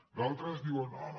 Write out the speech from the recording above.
d’altres diuen no no